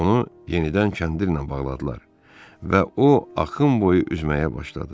Onu yenidən kəndirlə bağladılar və o axın boyu üzməyə başladı.